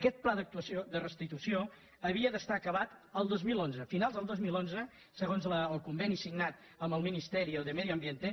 aquest pla de restitució havia d’estar acabat el dos mil onze finals del dos mil onze segons el conveni signat amb el ministerio de medio ambiente